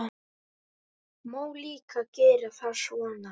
Má líka gera það svona